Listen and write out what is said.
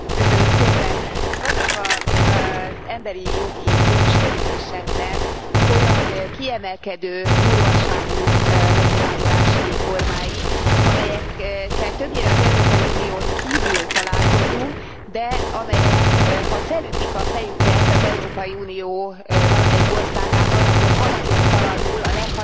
Vannak az emberi jogi jogsértéseknek olyan kiemelkedő durvaságú megnyilvánulási formái, amelyekkel többnyire az Európai Unión kívül találkozunk, de amelyek ha felütik a fejüket az Európai Unió valamelyik országában, akkor haladéktalanul a leghatározottabban